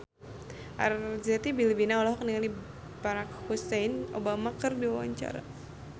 Arzetti Bilbina olohok ningali Barack Hussein Obama keur diwawancara